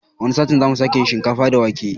Wani satin zamu sake yin shinkafa da wake